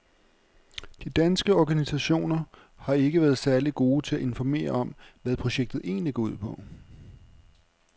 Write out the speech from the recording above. De danske organisationer har ikke været særligt gode til at informere om, hvad projektet egentlig går ud på.